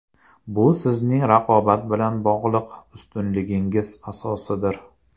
Bu sizning raqobat bilan bog‘liq ustunligingiz asosidir.